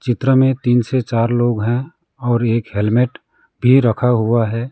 चित्र में तीन से चार लोग हैं और एक हेलमेट भी रखा हुआ है।